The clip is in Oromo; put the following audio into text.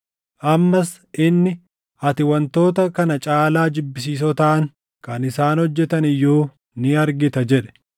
Ammas inni, “Ati wantoota kana caalaa jibbisiisoo taʼan kan isaan hojjetan iyyuu ni argita” jedhe.